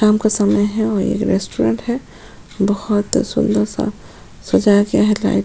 शाम का समय है और ये रेस्टोरेंट है बहत सुंदर सा समझाया गया है लाइट --